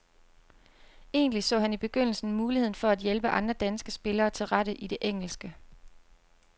Egentlig så han i begyndelsen muligheden for at hjælpe andre danske spillere til rette i det engelske.